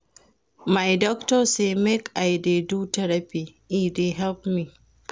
My doctor sey make I dey do therapy, e dey help me.